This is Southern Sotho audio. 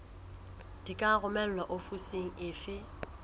di ka romelwa ofising efe